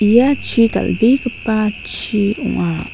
ia chi dal·begipa chi ong·a.